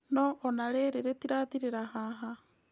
No ona riri ritirathirira haha